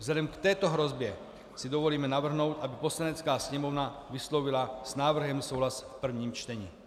Vzhledem k této hrozbě si dovolím navrhnout, aby Poslanecká sněmovna vyslovila s návrhem souhlas v prvním čtení.